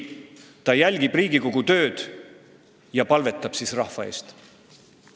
– Ei, ta jälgib Riigikogu tööd ja palvetab siis rahva eest.